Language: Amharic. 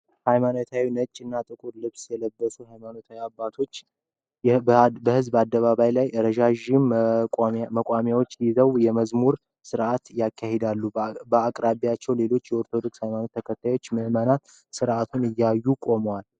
ሃይማኖታዊ ነጭ እና ጥቁር ልብስ የለበሱ ሃይማኖት አባቶች በሕዝብ አደባባይ ላይ ረዣዥም መቋሚያዎችን ይዘው የመዝሙር ስርአትን ያካሂዳሉ። በአቅራቢያ ሌሎች የኦርቶዶክስ ሃይማኖት ተከታይ ምእመናን ስርአቱን እያዩ ቆመዋል።